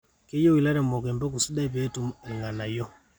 keyieu ilaremok empeku sidai pee etum ilnganayo